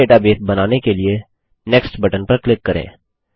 नया डेटाबेस बनाने के लिए नेक्स्ट बटन पर क्लिक करें